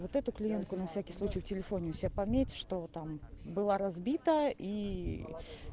вот эту клиентку на всякий случай в телефоне у себя пометь что там была разбита и